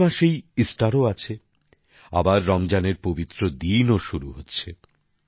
April মাসেই ইস্টারও আছে আবার রমজানের পবিত্র দিনও শুরু হচ্ছে